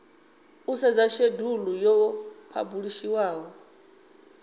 u sedza shedulu yo phabulishiwaho